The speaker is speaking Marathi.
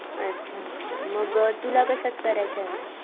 अच्छा अच्छा मग अ तुला कश्यात करायचं मग?